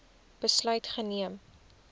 besluit geneem